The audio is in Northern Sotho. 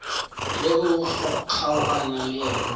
ge o kgaogana le yena